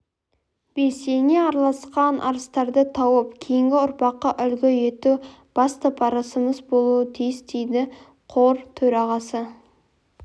белсене араласқан арыстарды тауып кейінгі ұрпаққа үлгі ету басты парызымыз болуы тиіс дейді қор төрағасы